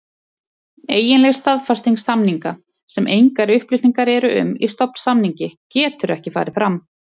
Eiginleg staðfesting samninga, sem engar upplýsingar eru um í stofnsamningi, getur ekki farið fram.